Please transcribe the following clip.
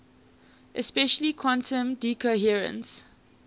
especially quantum decoherence